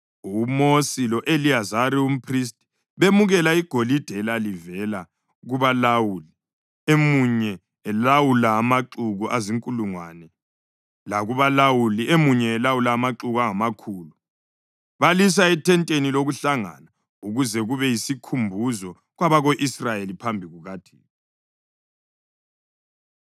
UMosi lo-Eliyazari umphristi bemukela igolide elalivela kubalawuli emunye elawula amaxuku azinkulungwane lakubalawuli emunye elawula amaxuku angamakhulu, balisa ethenteni lokuhlangana ukuze kube yisikhumbuzo kwabako-Israyeli phambi kukaThixo.